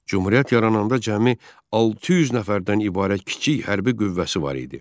Cümhuriyyət yarananda cəmi 600 nəfərdən ibarət kiçik hərbi qüvvəsi var idi.